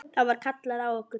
Þá var kallað á okkur.